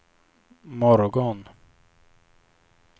morgon